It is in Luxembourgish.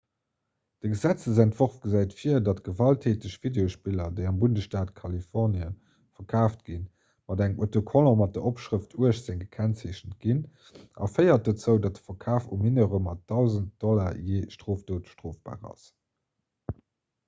de gesetzentworf gesäit vir datt gewalttäteg videospiller déi am bundesstaat kalifornie verkaaft ginn mat engem autocollant mat der opschrëft 18 gekennzeechent ginn a féiert dozou datt de verkaf u mineure mat 1.000 $ jee strofdot strofbar ass